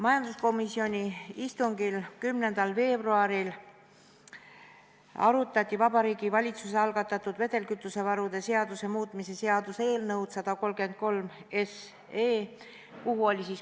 Majanduskomisjoni istungil 10. veebruaril arutati Vabariigi Valitsuse algatatud vedelkütusevaru seaduse muutmise seaduse eelnõu 133.